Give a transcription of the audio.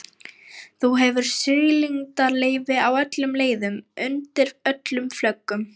Þú hefur siglingaleyfi á öllum leiðum, undir öllum flöggum.